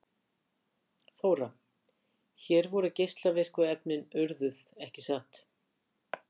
Þóra: Hér voru geislavirku efnin urðuð, ekki satt?